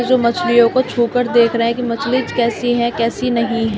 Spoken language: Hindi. इस मछलियों को छू कर देख रहा है कि मछली कैसी है कैसी नहीं है।